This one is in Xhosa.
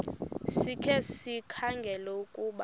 sikhe sikhangele ukuba